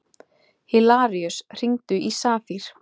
Hilaríus, hringdu í Safír.